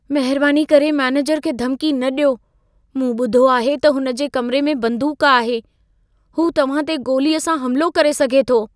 महिरबानी करे मैनेजर खे धमकी न ॾियो। मूं ॿुधो आहे त हुन जे कमिरे में बंदूक आहे। हू तव्हां ते गोलीअ सां हमिलो करे सघे थो।